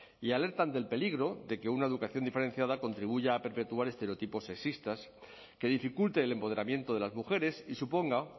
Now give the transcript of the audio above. y alertan del peligro de que una educación diferenciada contribuya a perpetuar estereotipos sexistas que dificulte el empoderamiento de las mujeres y suponga